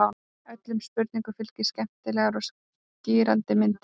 Öllum spurningum fylgja skemmtilegar og skýrandi myndir.